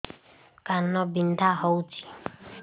କାନ ବିନ୍ଧା ହଉଛି